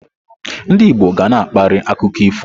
Ndị Igbo ga na-akparị akụkọ ifo.